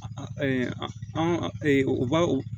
An u b'a o